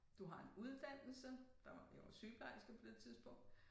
Du har en uddannelse der var jeg var sygeplejerske på det tidspunkt